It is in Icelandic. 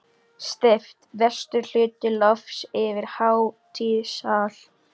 Steypt vestur hluti lofts yfir hátíðasal.